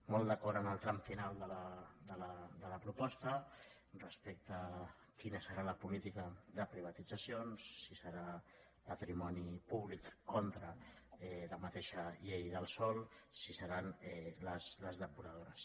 molt d’acord amb el tram final de la proposta respecte a quina serà la política de privatitzacions si serà patrimoni públic contra la mateixa llei del sòl si seran les depuradores